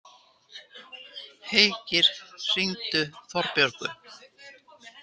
Heikir, hringdu í Þorbjörgu.